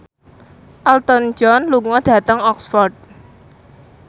Elton John lunga dhateng Oxford